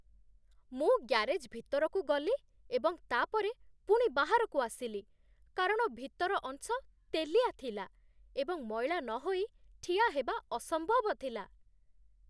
ମୁଁ ଗ୍ୟାରେଜ୍ ଭିତରକୁ ଗଲି ଏବଂ ତା'ପରେ ପୁଣି ବାହାରକୁ ଆସିଲି କାରଣ ଭିତର ଅଂଶ ତେଲିଆ ଥିଲା ଏବଂ ମଇଳା ନହୋଇ ଠିଆ ହେବା ଅସମ୍ଭବ ଥିଲା